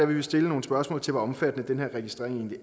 vi vil stille nogle spørgsmål til hvor omfattende den her registrering egentlig